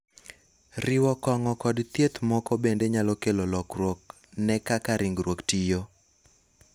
riwo kong'o kod thieth moko bende nyalo kelo lokruok ne kaka ringruok tiyo